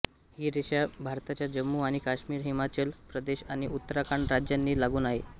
ही रेषा भारताच्या जम्मु आणि काश्मीर हिमाचल प्रदेश आणि उत्तराखंड राज्यांना लागून आहे